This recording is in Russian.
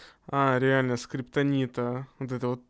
а реально скриптонита вот это вот